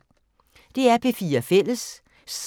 DR P4 Fælles